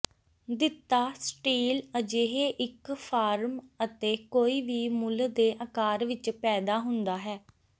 ਦਿੱਤਾ ਸਟੀਲ ਅਜਿਹੇ ਇੱਕ ਫਾਰਮ ਅਤੇ ਕੋਈ ਵੀ ਮੁੱਲ ਦੇ ਆਕਾਰ ਵਿੱਚ ਪੈਦਾ ਹੁੰਦਾ ਹੈ